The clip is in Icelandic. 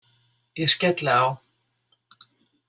Ég skelli á.